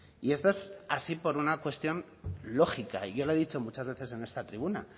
y esto es así por una cuestión lógica y yo lo he dicho muchas veces en esta tribuna